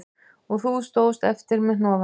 Og þú stóðst eftir með hnoðann